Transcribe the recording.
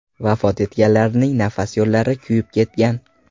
Vafot etganlarning nafas yo‘llari kuyib ketgan.